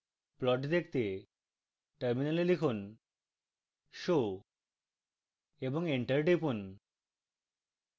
plot দেখতে terminal লিখুন show এবং enter টিপুন